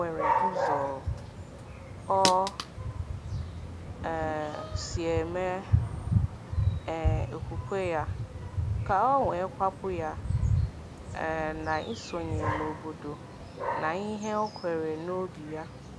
Ọ gbanwere ụzọ o um si eme um okwukwe ya ka ọ kwàpụ̀ ya um na isonye n’obodo na ihe ọ kweere n’obí ya.